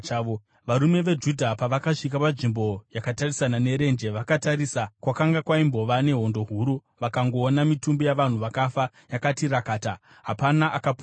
Varume veJudha pavakasvika panzvimbo yakatarisana nerenje vakatarisa kwakanga kwaimbova nehondo huru vakangoona mitumbi yavanhu vakafa yakati rakata; hapana akapunyuka.